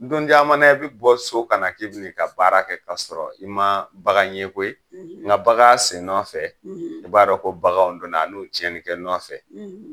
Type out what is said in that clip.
Don caman i bɛ bɔ i ka so ka na k'i bi n'i ka baara kɛ k'a sɔrɔ i ma bagan ye koyi , n nka bagan sen nɔfɛ i b'a dɔn ko baganw donna a n'u tiɲɛnni kɛ nɔfɛ.